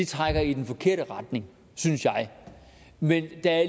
trækker i den forkerte retning synes jeg men der er